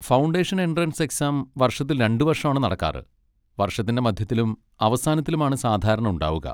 Foundation entrance exam വർഷത്തിൽ രണ്ടുവർഷം ആണ് നടക്കാറ്, വർഷത്തിൻ്റെ മധ്യത്തിലും അവസാനത്തിലുമാണ് സാധാരണ ഉണ്ടാവുക.